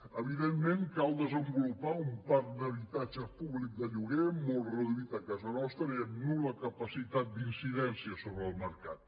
evidentment cal desenvolupar un parc d’habitatge públic de lloguer molt reduït a casa nostra i amb nul·la capacitat d’incidència sobre el mercat